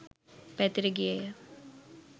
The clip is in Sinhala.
පැතිර ගියේය